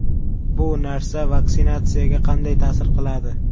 Bu narsa vaksinatsiyaga qanday ta’sir qiladi?